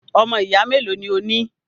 Ọmọ ìyá melo ni o ní?